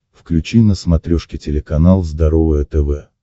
включи на смотрешке телеканал здоровое тв